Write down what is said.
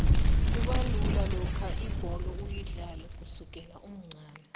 kubalula lokha ibholo uyidlale kusukela umncani